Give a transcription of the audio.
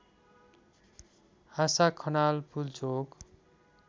Asha Khanal Pulchowk